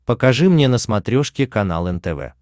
покажи мне на смотрешке канал нтв